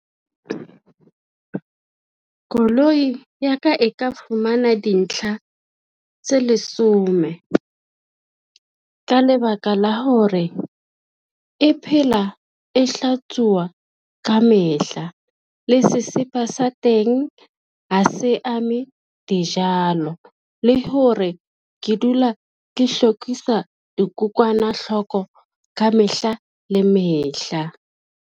Koloi ya ka e ka fumana dintlha tse lesome. Ka lebaka la hore e phela e hlatsuwa ka mehla le sesepa sa teng ha se ame dijalo, le hore ke dula ke hlokisa dikokwanahloko ka mehla le mehla.